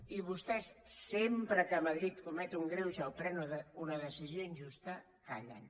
i vostès sempre que madrid comet un greuge o pren una decisió injusta callen